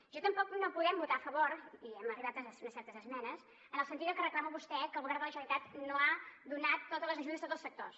tampoc no hi podem votar a favor i hem arribat a unes certes esmenes en el sentit del que reclama vostè que el govern de la generalitat no ha donat totes les ajudes a tots els sectors